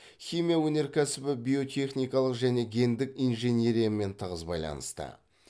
химия өнеркәсібі биотехникалық және гендік инженериямен тығыз байланысты